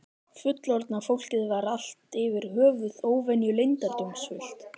Fullorðna fólkið var allt yfir höfuð óvenju leyndardómsfullt.